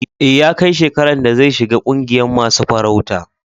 E, ya kai shekaran da zai shiga ƙungiyan masun farauta.